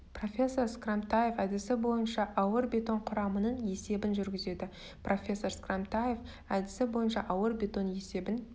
профессор скрамтаев әдісі бойынша ауыр бетон құрамының есебін жүргізеді профессор скрамтаев әдісі бойынша ауыр бетон есебін